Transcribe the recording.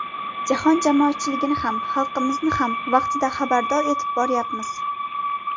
Jahon jamoatchiligini ham, xalqimizni ham vaqtida xabardor etib boryapmiz.